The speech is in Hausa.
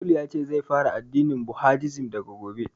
Tolu yace zai fara addinin budahisim daga gobe